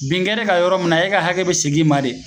Bin kɛr'e kan yɔrɔ min na e ka hakɛ be segin i ma de